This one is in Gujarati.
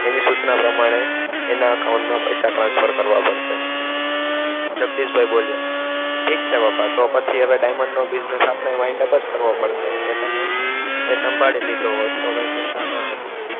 એની સૂચના પ્રમાણે એના account મા પૈસા transfer કરવા પડસે જગદીશભાઇ બોલ્યા ઠીક છે પપ્પા તો પછી હવે diamond નો business આપણે wind up જ કરવો પડસે કેતને એ સંભાળી લીધો હોત તો કાઇ ચિંતા ન હતી